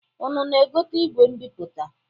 Unu na-egote igwe mbipụta?